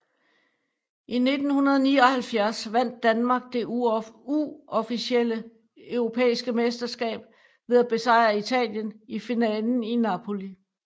I 1979 vandt Danmark det uofficielle europæiske mesterskab ved at besejre Italien i finalen i Napoli